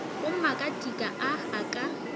go makatika a a ka